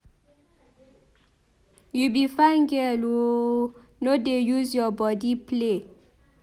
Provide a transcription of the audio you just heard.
You be fine girl oooo no dey use your body play.